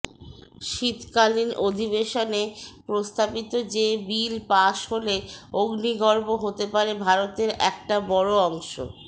শীতকালীন অধিবেশনে প্রস্তাবিত যে বিল পাশ হলে অগ্নিগর্ভ হতে পারে ভারতের একটা বড়ো অংশ